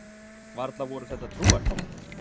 Varla voru þetta allt trúartákn?